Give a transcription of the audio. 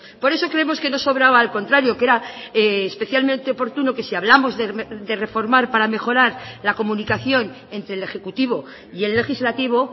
por eso creemos que no sobraba al contrario que era especialmente oportuno que si hablamos de reformar para mejorar la comunicación entre el ejecutivo y el legislativo